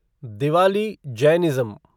Diwali Jainism